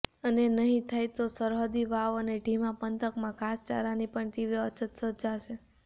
અને નહિ થાય તો સરહદી વાવ અને ઢીમા પંથકમાં ઘાસચારાની પણ તીવ્ર અછત સર્જાશે